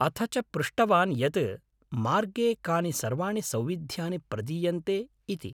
अथ च पृष्टवान् यत् मार्गे कानि सर्वाणि सौविध्यानि प्रदीयन्ते इति।